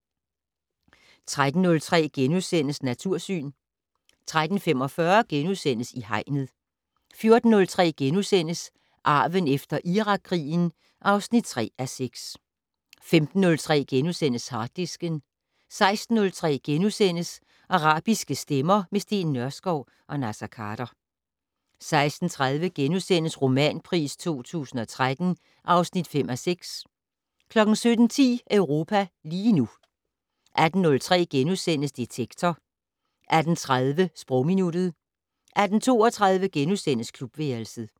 13:03: Natursyn * 13:45: I Hegnet * 14:03: Arven efter Irakkrigen (3:6)* 15:03: Harddisken * 16:03: Arabiske stemmer - med Steen Nørskov og Naser Khader * 16:30: Romanpris 2013 (5:6)* 17:10: Europa lige nu 18:03: Detektor * 18:30: Sprogminuttet 18:32: Klubværelset *